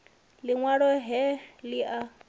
liṋ walo he li a